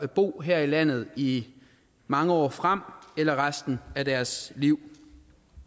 at bo her i landet i mange år frem eller resten af deres liv